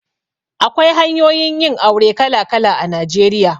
Akwai hanyoyin yin aure kala kala a Najeriya.